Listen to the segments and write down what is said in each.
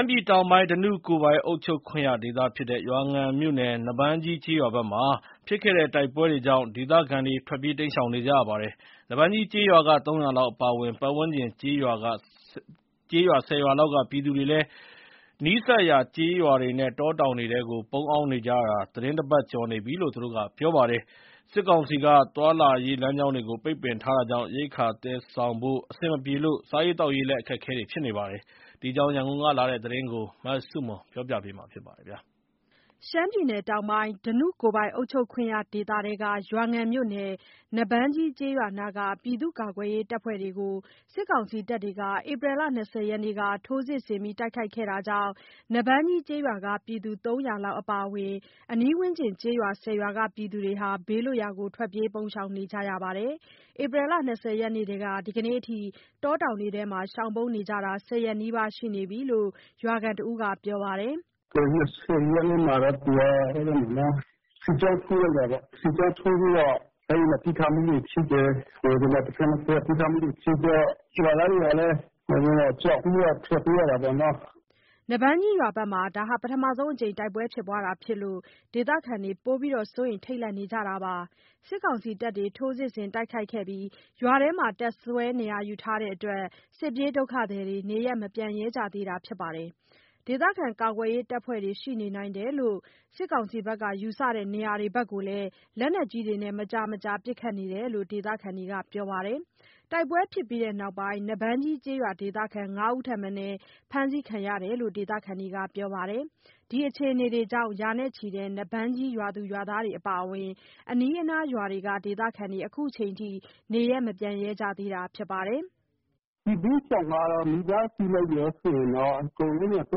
မ်းပြည်တောင်ပိုင်း ဓနုကိုယ်ပိုင်အုပ်ချုပ်ခွင့်ရဒေသဖြစ်တဲ့ ရွာငံမြို့နယ် နွားဘန်းကြီး ကျေးရွာဘက်မှာ ဖြစ်ခဲ့တဲ့တိုင်ပွဲတွေကြောင့် ဒေသခံတွေ ထွက်ပြေးတိမ်းရှောင်နေကြရပါတယ်။ နွားဘန်းကြီးကျေးရွာက ၃၀၀ လောက်အပါအဝင် ပတ်ဝန်းကျင်ကျေးရွာ ၁၀ ရွာလောက်ကပြည်သူတွေ နီးစပ်ရာကျေးရွာနဲ့ တောတောင်ထဲ ပုန်းရှောင်နေကြရတာ သီတင်း ၁ ပတ်ကျော်နေပြီလို့ ပြောပြကြပါတယ်။ စစ်ကောင်စီက သွားလာရေးလမ်းကြောင်းတွေကို ပိတ်ပင်ထားတာကြောင့် ရိက္ခာသယ်ဆောင်ဖို့ အဆင်မပြေလို့ စားရေးသောက်ရေး အခက်အခဲဖြစ်နေကြပါတယ်။ ဒီအကြောင်း ရန်ကုန်ကလာတဲ့ သတင်းကို မဆုမွန်က တင်ပြပေးထားပါတယ်။ ဓနုကိုယ်ပိုင် အုပ်ချုပ်ခွင့်ရဒေသထဲက ရွာငံမြို့နယ် နွားဘန်းကြီးကျေးရွာနားက ပြည်သူ့ကာကွယ်ရေးအဖွဲ့တွေအပေါ် စစ်ကောင်စီတပ်တွေ ဧပြီလ ၂၀ ရက်နေ့က ထိုးစစ်ဆင်တိုက်ခိုက်ခဲ့တာကြောင့် နွားဘန်းကြီးကျေးရွာက ပြည်သူ ၃၀၀ လောက်အပါအဝင် ပတ်ဝန်းကျင်ကျေးရွာ ၁၀ ရွာလောက်က ပြည်သူတွေ ဘေးလွတ်ရာ ထွက်ပြေးပုန်းရှောင်နေကြရပါတယ်။ ဧပြီလ ၂၀ ရက်နေ့ထဲက ဒီနေ့အထိ တော တောင်ထဲမှာ ရှောင်ပုန်းနေကြတာ ၁၀ ရက်နီးပါးရှိနေပြီလို့ ရွာခံတဦးက ပြောပါတယ်။ “၂၀ ရက်နေ့မှာတော့ သူက စစ်ကြောင်းထိုးလိုက်တာပေ့ါ။ စစ်ကြောင်းထိုးပြီးတော့ အဲ့ဒီမှာ ပစ်ခတ်မှုတွေ ဖြစ်တယ်။ တဘက်နဲ့တဘက်ပစ်ခတ်မှုတွေ ဖြစ်တော့ ရွာသားတွေကလည်း ကြောက်ပြီးတော့ ထွက်ပြေးရတာပေါ့နော်။” နွားဘန်းကြီးရွာဘက်မှာ ပထမဆုံးအကြိမ် တိုက်ပွဲဖြစ်ပွားတာဖြစ်လို့ ဒေသခံတွေ ပိုပြီးစိုးရိမ် ထိတ်လန့် နေကြတာပါ။ စစ်ကောင်စီတပ်တွေ ထိုးစစ်ဆင်တိုက်ခိုက်ခဲ့ပြီး ရွာထဲမှာ တပ်စွဲနေရာယူထားတဲ့အတွက် စစ်ပြေးဒုက္ခသည်တွေ နေရပ်မပြန်ရဲကြသေးတာဖြစ်ပါတယ်။ ဒေသခံကာကွယ်ရေးအဖွဲ့တွေ ရှိနေနိုင်တယ်လို့ ယူဆတဲ့နေရာတွေဘက်ကိုလည်း လက်နက်ကြီးတွေနဲ့ မကြာမကြာပစ်ခတ်နေတယ်လို့ ဒေသခံတွေက ပြောပါတယ်။ တိုက်ပွဲဖြစ်ပြီးနောက်ပိုင်း နွားဘန်ကြီးကျေးရွာဒေသခံ ၅ ဦး ထက်မနည်း ဖမ်းဆီးခံရတယ်လို့ ဒေသခံတွေက ပြောပါတယ်။ ဒီအခြေအနေတွေကြောင့် ရာနဲ့ချီတဲ့ နွားဘန်းကြီးရွာသူ ရွာသားတွေအပါအဝင် အနီးအနားရွာတွေက ဒေသခံတွေ ခုချိန်ထိ နေရပ်မပြန်ရဲကြသေးတာဖြစ်ပါတယ်။ “စစ်ဘေးရှောင်ကတော့ မိသားစုလိုက်ရော စစ်ရင်တော့ အကုန်လုံးက ၃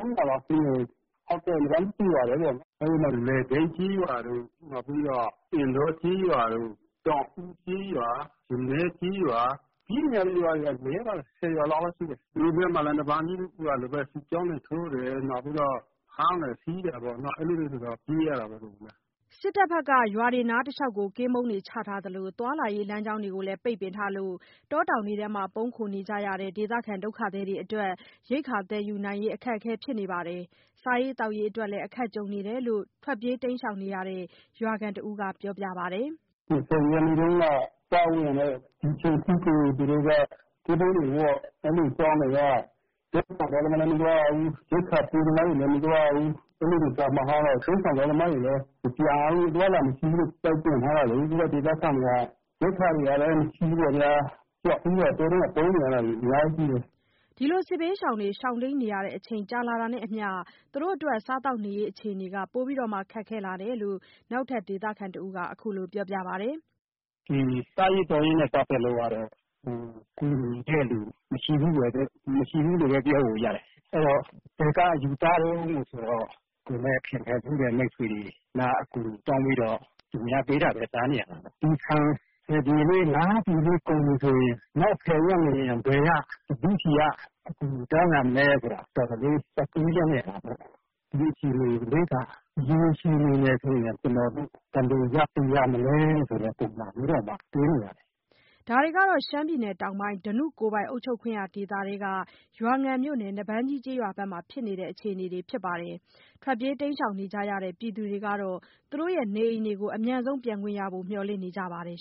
၀၀ လောက်ရှိမယ်။ ဟုတ်ကဲ့။ နွားဘန်တရွာပဲပေါ့နော်။ အဲ့ဒီမှာ လယ်ဘိတ်ကျေးရွာတို့၊ နောက်ပြီးတော့ အင်းတောကျေးရွာတို့ တောင်ဦးကျေးရွာ၊ ရနည်းကျေးရွာ ပြေးနေရတဲ့ ကျေးရွာတွေက ၁၀ ရွာလောက်တော့ ရှိတယ်။ သူတို့ဘက်မှာလည်း နွားဘန်ကြီးရွာလိုပဲ စစ်ကြောင်းတွေထိုးတယ်။ နောက်ပြီးတော့ ဖမ်းတယ် ဆီးတာပေါ့နော်၊ အဲ့လိုတွေဆိုတော့ ပြေးရတာပေါ့လေဗျာ။” စစ်တပ်တွေ ရွာတွေနားတလျှောက် ကင်းပုန်းတွေချထားသလို သွားလာရေးလမ်းကြောင်းတွေလည်း ပိတ်ပင်ထားလို့ တောတောင်ထဲ ပုန်းခိုနေကြရတဲ့ ဒုက္ခသည်တွေအတွက် ရိက္ခာသယ်ယူဖို့ အခက်အခဲဖြစ်နေပြီး စားရေးသောက်ရေးအတွက် အခက်ကြုံနေတယ်လို့ ထွက်ပြေးတိမ်းရှောင်နေတဲ့ ရွာခံတဦးက ပြောပါတယ်။ “၂၀ ရက်နေ့တုန်းက စဝင်တည်းက ဒီချိန်ထိကို သူတို့က ကင်းပုန်းတွေဝပ်။ အဲ့လိုအကြောင်းတွေက တောထဲမှာ......သမားလည်း မသွားရဘူး။ ရိက္ခာပို့သမားတွေလည်း မသွားရဘူး၊ အဲ့လိုတွေကျ မကောင်းတော့ဘူး။ တိမ်းရှောင်သွားသမားတွေလည်း မပြန်ရဘူး၊ အသွားအလာမရှိဘူးလို့ ပိတ်ပင်ထားတာလေး၊ ပြီးတော့ ဒေသခံတွေက ရိက္ခာတွေလည်း မရှိဘူးပေါ့ဗျာ၊ ကြောက်ပြီးတော့ တောထဲမှာ ပုန်းနေရတာတွေ အများကြီးရှိတယ်။” စစ်ဘေးရှောင်တွေ ရှောင်တိမ်းနေရတဲ့ အချိန်ကြာလာတာနဲ့အမျှ စားသောက်နေရေးအခြေအနေ ပိုမိုခက်ခဲလာတယ်လို့ နောက်ထပ် ဒေသတဦးက အခုလို ပြောပါတယ်။ စားရေးသောက်ရေးနဲ့ပတ်သက်လို့ကတော့ ကူညီတဲ့လူမရှိဘူးလို့ပဲပြောလို့ရတယ်။ အဲ့တော့ ဘယ်ယူစားတုန်းဆိုတော့ ကိုယ်နဲ့ ခင်ခဲ့ဖူးတဲ့ မိတ်ဆွေတွေ လှမ်းအကူအညီတောင်းပြီးတော့ သူများပေးတာပဲ စားနေရတာပေါ့။ ဒီဆန် ၁၀ ပြည်လေး ၅ ပြည်လေးကုန်ပြီဆိုရင် နောက် ၁၀ ရက်နေရင် ဘယ်က ဘယ်သူ့ ဆီက အကူအညီတောင်းရမလဲဆိုတာ တော်တော်တွေးကြရတာပေါ့။ ဒီလိုအခြေအနေလေးက ရေရှည် အနေနဲ့ဆိုရင် ကျနော်တို့ ဘယ်လိုရပ်တည်ရမလဲဆိုတဲ့ ပုံစံမျိုးတောင်မှတွေးနေရတယ်။” ဒါတွေကတော့ ရှမ်းပြည်တောင်ပိုင်း ဓနုကိုယ်ပိုင်အုပ်ချုပ်ခွင့်ရဒေသထဲက ရွာငံမြို့နယ် နွားဘန်းကြီးကျေးရွာဘက်မှာဖြစ်နေတဲ့ အခြေအနေတွေ ဖြစ်ပါတယ်။ ထွက်ပြေးတိမ်းရှောင်နေကြတဲ့ ပြည်သူတွေကတော့ သူတို့နေအိမ်တွေကို အမြန်ဆုံးပြန်နိုင်ဖို့ မျှော်လင့်နေကြပါတယ်